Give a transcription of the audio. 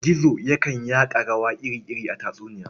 Gizo yakan yaka rawa iri-iri a tatsuniya.